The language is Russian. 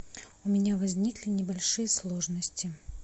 у меня возникли небольшие сложности